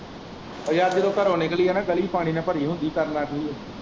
ਉਹ ਯਾਰ ਜਦੋਂ ਘਰੋਂ ਨਿਕਲੀਏ ਨਾ ਗਲੀ ਪਾਣੀ ਨਾਲ ਭਰੀ ਹੁੰਦੀ ਕਰਨਾ ਕੀ ਹੈ।